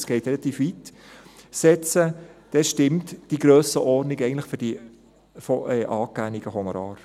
es geht relativ weit –, dann stimmt die Grössenordnung eigentlich für die angegebenen Honorare.